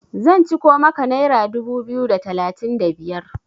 zan ciko maka naira dubu biyu da talatin da biyar!